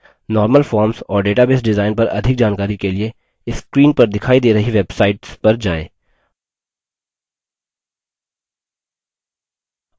normal forms और database design पर अधिक जानकारी के लिए screen पर दिखाई दे रही websites पर जाएँ